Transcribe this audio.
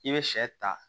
I bɛ sɛ ta